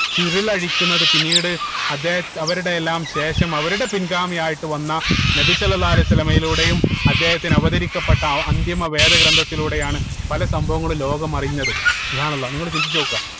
ചുരുളഴിക്കുന്നത് പിന്നീട് അദ്ദേഹ അവരുടെ എല്ലാം ശേഷം അവരുടെ പിൻഗാമിയായിട്ട് വന്ന നബി സ്വല്ലള്ളാഹു അലൈഹി വസല്ലമയിലൂടെയും അദ്ദേഹത്തിന് അവതരിക്കപ്പെട്ട അ അന്തിമ വേദ ഗ്രന്ഥത്തിലൂടെയാണ് പല സംഭവങ്ങളും ലോകം അറിയുന്നത് അള്ളാഹ് നിങ്ങൾ ചിന്തിച്ച് നോക്കുക